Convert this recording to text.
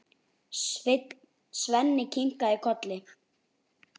Svenni kinkar kolli.